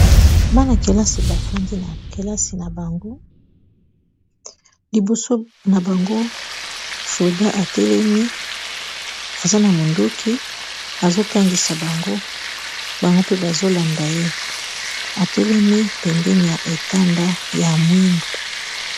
Mwana-kelasi bafandi na kelasi na bango liboso na bango soda atelemi aza na monduki azotangisa bango bango mpe bazolanda ye atelemi pembeni ya etanda ya mwindu.